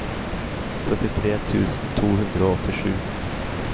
syttitre tusen to hundre og åttisju